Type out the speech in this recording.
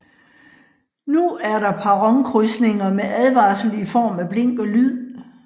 Nu er der perronkrydsninger med advarsel i form af blink og lyd